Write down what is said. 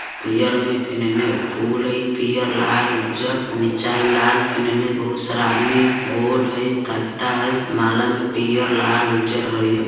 पियर में फेन इनने फूल हई पियर लाल उज्जर निचा हई लाल फेन इनने बहुत सारा आदमी बोर्ड हई तख्ता हई माला में लाल पियर उज्जर हरियर।